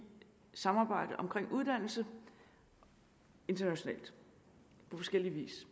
samarbejdet omkring uddannelse internationalt på forskellig vis